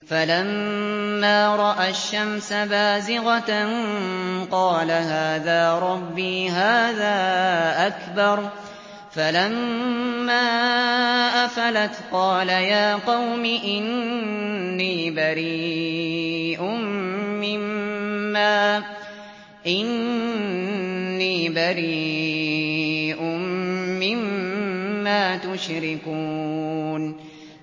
فَلَمَّا رَأَى الشَّمْسَ بَازِغَةً قَالَ هَٰذَا رَبِّي هَٰذَا أَكْبَرُ ۖ فَلَمَّا أَفَلَتْ قَالَ يَا قَوْمِ إِنِّي بَرِيءٌ مِّمَّا تُشْرِكُونَ